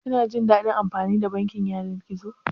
Kina jin daɗin amfani da bankin yanar gizo?